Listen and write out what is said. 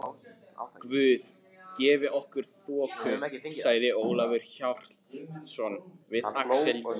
Guð gefi okkur þoku, sagði Ólafur Hjaltason við Axel Jul.